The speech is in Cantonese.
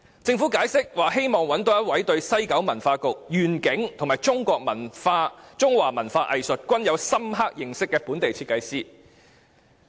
政府解釋，希望找到一位對西九文化區願景和中華文化藝術均有深刻認識的本地設計師。